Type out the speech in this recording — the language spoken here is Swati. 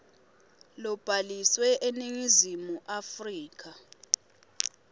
lobhaliswe eningizimu afrika